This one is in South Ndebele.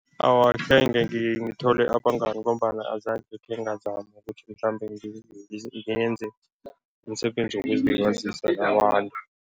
Awa, akhenge ngithole abangani ngombana azange khengazama ukuthi mhlambe ngenze umsebenzi wokuzilibazisa nabantu.